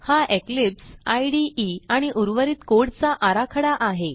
हा Eclipse IDE आणि उर्वरित कोड चा आराखडा आहे